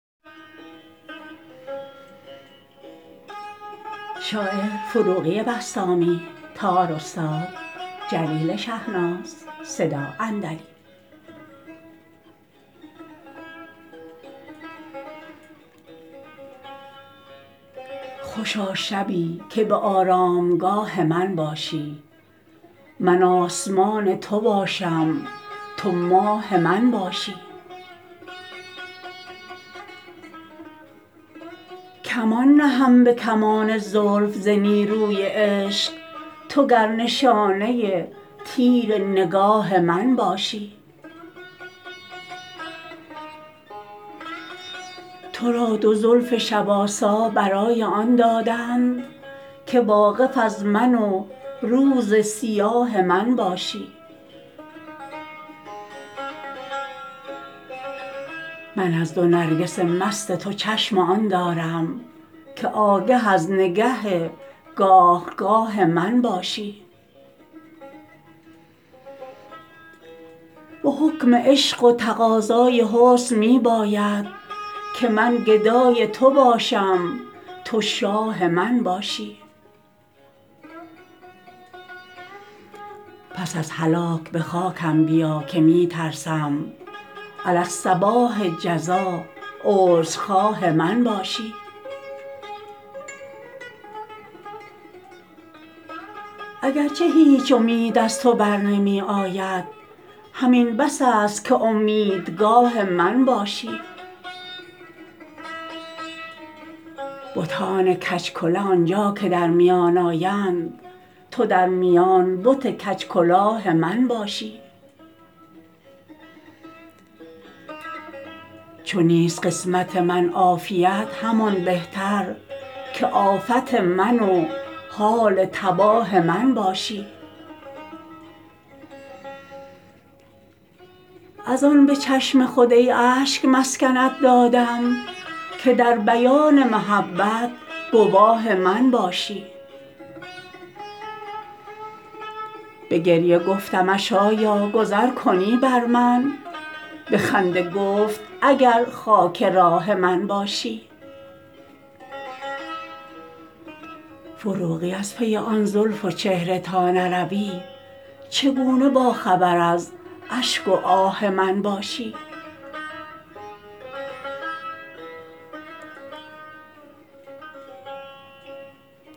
خوشا شبی که به آرامگاه من باشی من آسمان تو باشم تو ماه من باشی کمان نهم به کمان زلف ز نیروی عشق تو گر نشانه تیر نگاه من باشی تو را دو زلف شب آسا برای آن دادند که واقف از من و روز سیاه من باشی من از دو نرگس مست تو چشم آن دارم که آگه از نگه گاه گاه من باشی به حکم عشق و تقاضای حسن می باید که من گدای تو باشم تو شاه من باشی پس از هلاک به خاکم بیا که می ترسم علی الصباح جزا عذرخواه من باشی اگر چه هیچ امید از تو بر نمی آید همین بس است که امیدگاه من باشی بتان کج کله آنجا که در میان آیند تو در میان بت کج کلاه من باشی چو نیست قسمت من عافیت همان بهتر که آفت من و حال تباه من باشی از آن به چشم خود ای اشک مسکنت دادم که در بیان محبت گواه من باشی به گریه گفتمش آیا گذر کنی بر من به خنده گفت اگر خاک راه من باشی فروغی از پی آن زلف و چهره تا نروی چگونه با خبر از اشک و آه من باشی